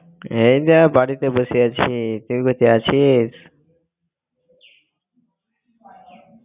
এই যে বাড়ি তে বসে আছি তুই কোথায় আছিস?